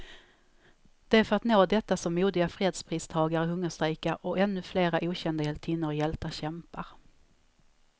Det är för att nå detta som modiga fredspristagare hungerstrejkar, och ännu flera okända hjältinnor och hjältar kämpar.